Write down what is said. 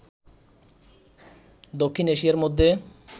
দক্ষিণ এশিয়ার মধ্যে